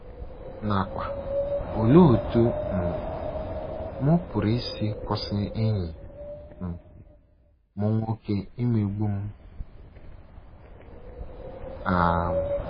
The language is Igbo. nakwa “ Olee Otú um M Pụrụ Isi Kwụsị Enyi um M Nwoke Imegbu M? um ”